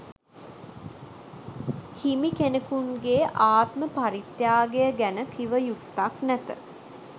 හිමිකෙනෙකුන්ගේ ආත්ම පරිත්‍යාගය ගැන කිවයුත්තක් නැත